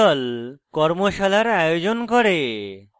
কর্মশালার আয়োজন করে